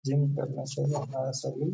Gym करना चाहिए सभी --.